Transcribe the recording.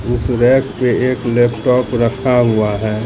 इस रैक पे एक लैपटॉप रखा हुआ है।